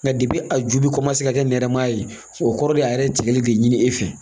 Nka a ju bɛ ka kɛ nɛrɛma ye o kɔrɔ de ye a yɛrɛ ye tigɛli de ɲini e fɛ